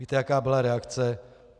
Víte, jaká byla reakce?